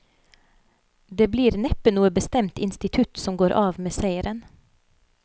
Det blir neppe noe bestemt institutt som går av med seieren.